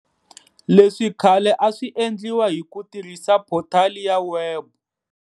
Leswi khale a swi endliwa hi ku tirhisa photali ya webu.